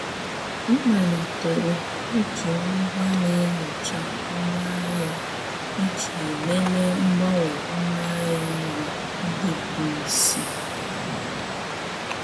M malitere iji ngwa na-enyocha ọnụ ahịa iji lelee mgbanwe ọnụ ahịa nri ndị bụ isi.